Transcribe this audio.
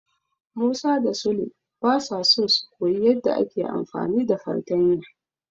Musa da Sule basa so su koyi yadda ake amfani da fartanya.